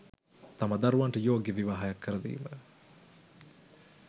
තම දරුවන්ට යෝග්‍ය විවාහයක් කරදීම